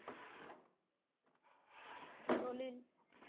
தொழில்